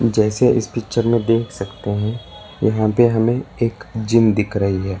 जैसे इस पिक्चर में देख सकते है यहां पे हमे एक जिम दिख रही है।